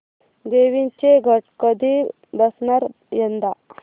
देवींचे घट कधी बसणार यंदा